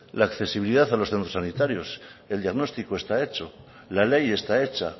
la accesibilidad a los centros sanitarios el diagnóstico está hecho la ley está hecha